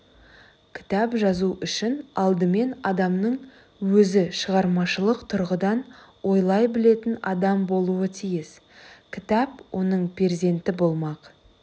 кітап жазу үшін алдымен адамның өзі шығармашылық тұрғыдан ойлай білетін адам болуға тиіс кітап оның перзенті болмақ